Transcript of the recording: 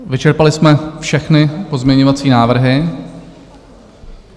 Vyčerpali jsme všechny pozměňovací návrhy.